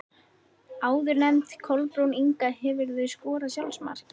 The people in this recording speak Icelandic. Áðurnefnd Kolbrún Inga Hefurðu skorað sjálfsmark?